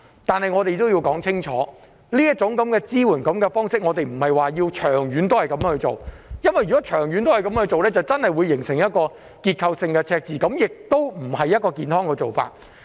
但我也要清楚指出，我們並不認同長遠運用這種支援方式，因為這樣確實會形成結構性赤字，這不是健康的做法。